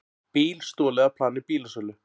Bíl stolið af plani bílasölu